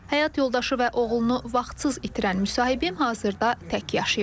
Həyat yoldaşı və oğlunu vaxtsız itirən müsahibim hazırda tək yaşayır.